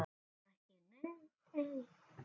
Ekki ein.